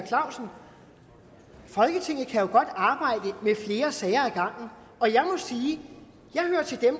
clausen folketinget kan jo godt arbejde med flere sager ad og jeg må sige